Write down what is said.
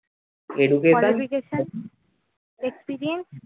experience